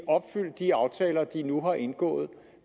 opfyldt de aftaler de nu har indgået